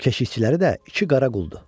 Keşikçiləri də iki qara quldur.